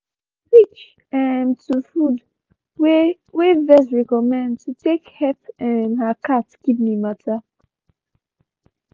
she been switch um to food wey wey vet recommend to take help um her cat kidney matter.